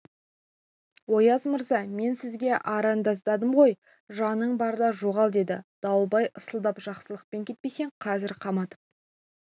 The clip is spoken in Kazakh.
ояз мырза мен сізге арыздандым ғой жаның барда жоғал деді дауылбай ысылдап жақсылықпен кетпесең қазір қаматып